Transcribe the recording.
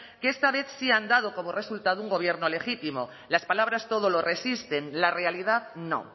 que esta vez sí han dado como resultado un gobierno legítimo las palabras todo lo resisten la realidad no